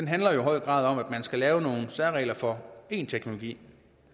handler jo i høj grad om at man skal lave nogle særregler for en teknologi